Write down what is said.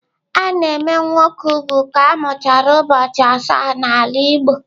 A na-eme nwoke úgwù ka a mụchara ụbọchị asaa n'ala Igbo.